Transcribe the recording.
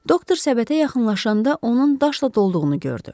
Doktor səbətə yaxınlaşanda onun daşla dolduğunu gördü.